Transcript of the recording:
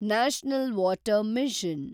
national water mission